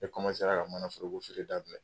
E komansera ka manaforoko feere daminɛ.